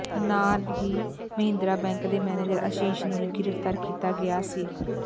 ਨਾਲ ਹੀ ਮਹਿੰਦਰਾ ਬੈਂਕ ਦੇ ਮੇਨੇਜਰ ਆਸ਼ੀਸ ਨੂੰ ਵੀ ਗ੍ਰਿਫਤਾਰ ਕੀਤਾ ਗਿਆ ਸੀ